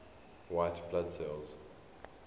white blood cells